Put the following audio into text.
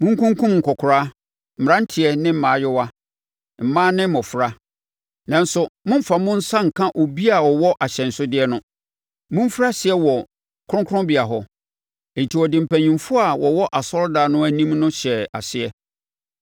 Monkunkum nkɔkoraa, mmeranteɛ ne mmaayewa, mmaa ne mmɔfra, nanso mommfa mo nsa nka obi a ɔwɔ ahyɛnsodeɛ no. Momfiri aseɛ wɔ me kronkronbea hɔ.” Enti wɔde mpanimfoɔ a wɔwɔ asɔredan no anim no hyɛɛ aseɛ.